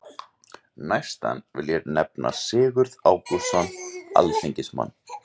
Næstan vil ég nefna Sigurð Ágústsson alþingismann.